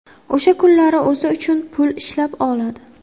O‘sha kunlari o‘zi uchun pul ishlab oladi.